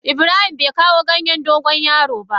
Ibrahim bai kawo ganyen dogon yaro ba.